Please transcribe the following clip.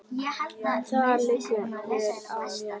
Nú liggur vél á mér